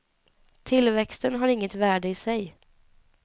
Tillväxten har inget värde i sig.